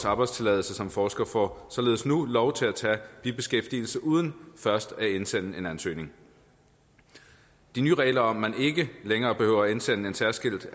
arbejdstilladelse som forskere får således nu lov til at tage bibeskæftigelse uden først at indsende en ansøgning de nye regler om at man ikke længere behøver at indsende en særskilt